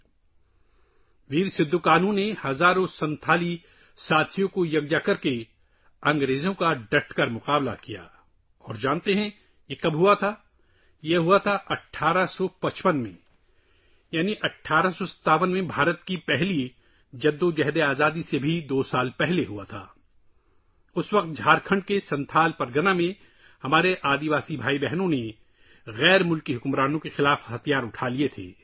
بہادر سدھو کانہو نے ہزاروں سنتھالی ساتھیوں کو اکٹھا کیا اور انگریزوں کے خلاف جی جان اور شجاعت کے ساتھ مقابلہ کیا ، اور کیا آپ جانتے ہیں کہ یہ کب ہوا؟ یہ 1855 میں ہوا، یعنی 1857 میں ہندوستان کی پہلی جنگ آزادی سے دو سال پہلے، جب جھارکھنڈ کے سنتھل پرگنہ میں ہمارے قبائلی بھائی بہنوں نے غیر ملکی حکمرانوں کے خلاف ہتھیار اٹھائے تھے